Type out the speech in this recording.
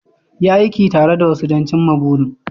Yi aiki tare da wasu don cimma burin